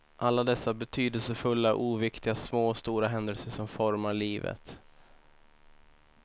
Alla dessa betydelsefulla, oviktiga små och stora händelser som formar livet.